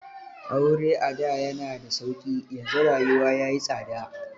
Aure ada yana da sauƙi, yanzu rayuwa ya yi tsada.